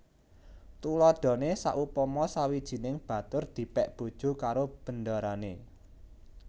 Tuladhané saupama sawijining batur dipèk bojo karo bendarané